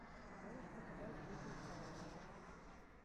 можешь показать жизнь кайли